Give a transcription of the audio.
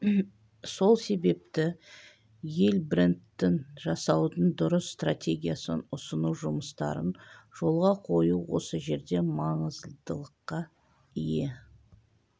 сол себепті ел брендін жасаудың дұрыс стратегиясын ұсыну жұмыстарын жолға қою осы жерде маңыздылыққа ие